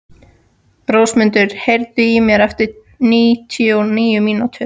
Rósmundur, heyrðu í mér eftir níutíu og níu mínútur.